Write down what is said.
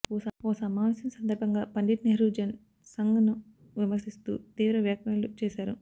ఓ సమావేశం సందర్భంగా పండిట్ నెహ్రూ జన్ సంఘ్ ను విమర్శిస్తూ తీవ్ర వ్యాఖ్యలు చేశారు